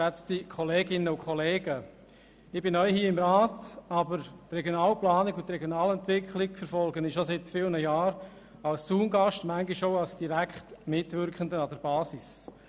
Ich bin neu hier im Rat, aber die Regionalplanung und die Regionalentwicklung verfolge ich seit vielen Jahren als Zaungast, manchmal auch als direkt Mitwirkender an der Basis.